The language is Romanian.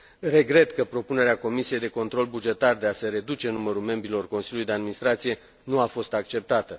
Regret că propunerea Comisiei de control bugetar de a se reduce numărul membrilor Consiliului de administrație nu a fost acceptată.